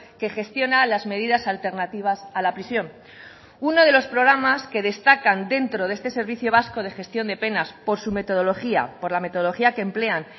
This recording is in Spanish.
que gestiona las medidas alternativas a la prisión uno de los programas que destacan dentro de este servicio vasco de gestión de penas por su metodología por la metodología que emplean